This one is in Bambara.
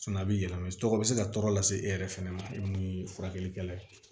a bɛ yɛlɛma tɔgɔ bɛ se ka tɔɔrɔ lase e yɛrɛ fɛnɛ ma e mun ye furakɛlikɛla ye